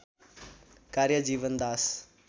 कार्य जीवनदास